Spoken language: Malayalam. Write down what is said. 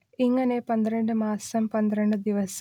ഇങ്ങനെ പന്ത്രണ്ട് മാസം പന്ത്രണ്ട് ദിവസം